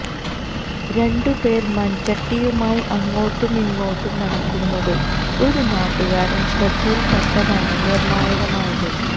രണ്ടുപേർ മൺചട്ടി യുമായി അങ്ങോട്ടുമിങ്ങോട്ടും നടക്കുന്നത് ഒരു നാട്ടുകാരന്റെ ശ്രദ്ധയിൽ പെട്ടതാണ് നിർണായകമായത്